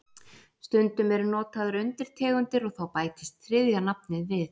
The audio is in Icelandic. Stundum eru notaðar undirtegundir og þá bætist þriðja nafnið við.